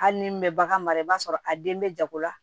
Hali ni bɛ bagan mara i b'a sɔrɔ a den bɛ jago la